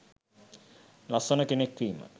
ලස්සන කෙනෙක් වීම